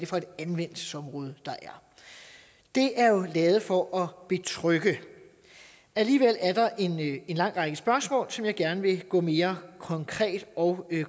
for et anvendelsesområde der er det er jo lavet for at betrygge alligevel er der en lang række spørgsmål som jeg gerne vil gå mere konkret og